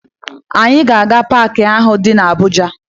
Anyị ga-aga paakị ahụ dị na Abuja